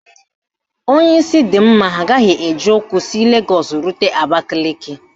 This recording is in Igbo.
Onye isi dị mma agaghị eji ụkwụ si Legọọsụ rute Abakaliki